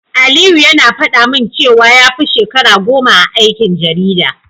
Aliyu yana faɗa min cewa ya fi shekara goma a aikin jarida.